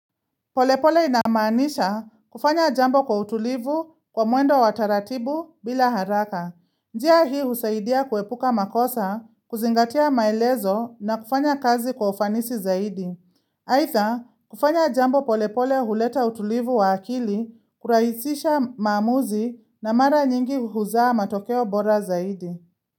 Polepole inamaanisha kufanya jambo kwa utulivu kwa mwendo wataratibu bila haraka. Njia hii husaidia kuepuka makosa, kuzingatia maelezo na kufanya kazi kwa ufanisi zaidi. Aitha, kufanya jambo polepole huleta utulivu wa akili, kuraisisha maamuzi na mara nyingi huzaa matokeo bora zaidi.